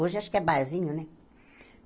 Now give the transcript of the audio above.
Hoje acho que é barzinho, né?